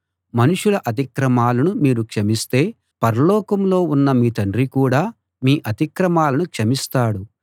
మనుషుల అతిక్రమాలను మీరు క్షమిస్తే పరలోకంలో ఉన్న మీ తండ్రి కూడా మీ అతిక్రమాలను క్షమిస్తాడు